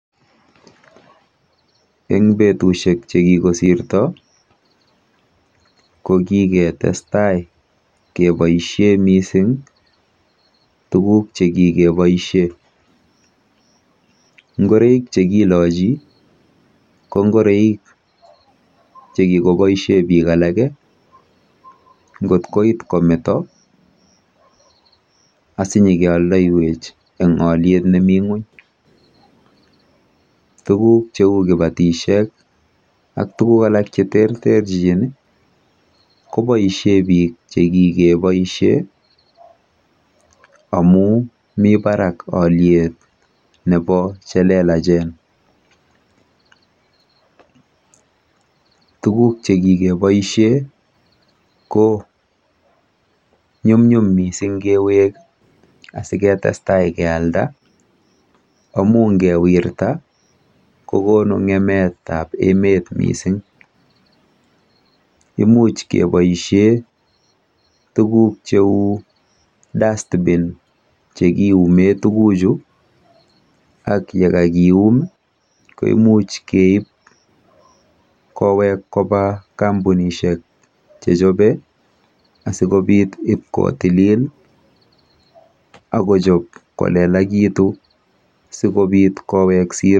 Eng betusiek chekikosirto ko kiketestai keboisie mising tuguk chekikeboisie. Ngoroik chekilochi ko ngoroik chekikoboisie bik alake ngot kometo asinyikeoldoiwech eng oliet nemi ng'ony. Tuguk cheu kibatisiek ak tuguk alak cheterterchin koboisie biik chekikeboisie amu mi barak oliet nebo chelelachen. Tuguk chekikeboisie ko nyumnyum mising kewek asiketestai kealda amu ngeweirta kokonu ng'emetab emet mising. Imuch keboisie tuguk cheu DUSTBIN chekiume tuguchu ak yekakium koimuch keib kewech koba kampunitshek chechobei asikopit ipkotilil akojob kolelakitu sikobit kowek siro.